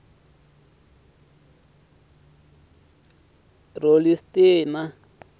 ralistina